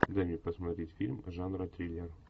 дай мне посмотреть фильм жанра триллер